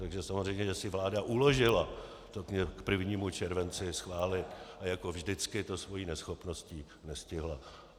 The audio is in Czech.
Takže samozřejmě že si vláda uložila to k 1. červenci schválit a jako vždycky to svou neschopností nestihla.